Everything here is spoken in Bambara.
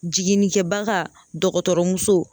Jiginnikɛbaga dɔgɔtɔrɔmuso